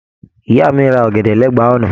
Ìyá mi rà ọ̀gẹ̀dẹ̀ l'ẹba ọ̀nà.